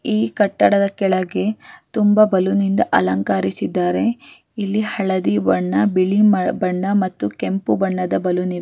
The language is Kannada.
ಈ ಕಟ್ಟಡದ ಕೆಳಗೆ ತುಂಬ ಬಲೂನಿಂದ ಅಲಂಕರಿಸಿದ್ದಾರೆ ಇಲ್ಲಿ ಹಳದಿ ಬಣ್ಣ ಬಿಳಿ ಬಣ್ಣ ಮತ್ತು ಕೆಂಪು ಬಣ್ಣದ ಬಲೂನಿಂದ .